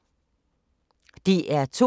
DR P2